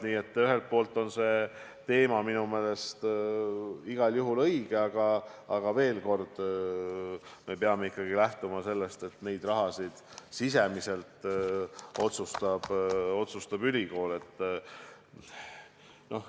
Nii et see teema on minu meelest igal juhul õige, aga veel kord: me peame ikkagi lähtuma sellest, et raha sisemise jagamise üle otsustab ülikool.